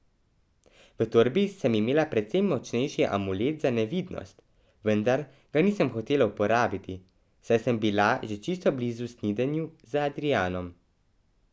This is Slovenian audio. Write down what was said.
V torbi sem imela precej močnejši amulet za nevidnost, vendar ga nisem hotela uporabiti, saj sem bila že čisto blizu snidenju z Adrijanom.